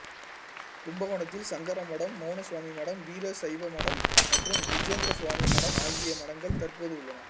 கும்பகோணத்தில் சங்கர மடம் மௌனசுவாமி மடம்வீர சைவ மடம் மற்றும் விஜேந்திரசுவாமி மடம் ஆகிய மடங்கள் தற்போது உள்ளன